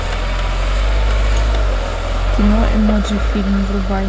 кино эмоджи фильм врубай